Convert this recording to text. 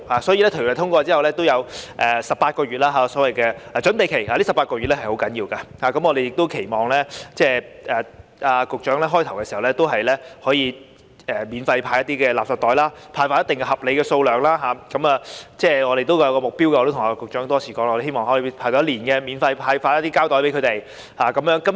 所以，法案通過後會有18個月的所謂準備期，這18個月是很重要的，我們亦期望局長在法例開始實施時可以免費派發合理數量的垃圾袋，這方面我們有一個目標，我也跟局長多次提出，我們希望可以免費派發一年的膠袋。